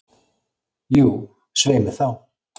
Jú, svei mér þá.